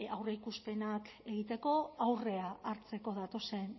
aurreikuspenak egiteko aurrea hartzeko datozen